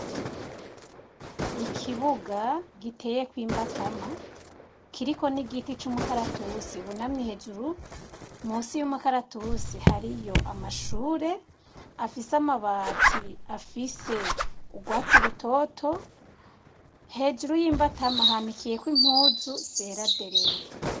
Ikibuga giteyeko imbatama, kiriko n'igiti c'umukaratusi bunamye hejuru, munsi y'umukaratusi hariyo amashure, afise amabati afise urwatsi rutoto, hejuru y'imbatama hanikiyeko impuzu zera zerere.